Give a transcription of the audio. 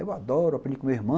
Eu adoro, aprendi com meu irmão.